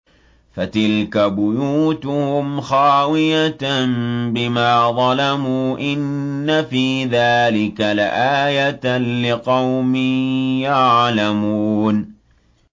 فَتِلْكَ بُيُوتُهُمْ خَاوِيَةً بِمَا ظَلَمُوا ۗ إِنَّ فِي ذَٰلِكَ لَآيَةً لِّقَوْمٍ يَعْلَمُونَ